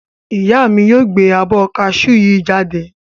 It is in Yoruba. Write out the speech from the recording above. Ìyá mi yóò gbẹ abọ́ ká sú yii jáde.